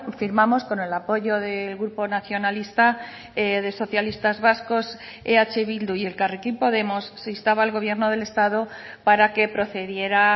firmamos con el apoyo del grupo nacionalista de socialistas vascos eh bildu y elkarrekin podemos se instaba al gobierno del estado para que procediera